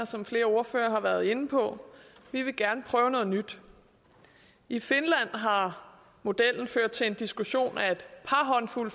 som flere ordførere har været inde på vi vil gerne prøve noget nyt i finland har modellen ført til diskussion af et par håndfulde